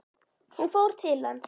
Hún fór til hans.